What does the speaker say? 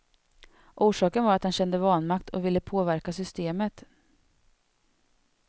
Orsaken var att han kände vanmakt och ville kunna påverka systemet.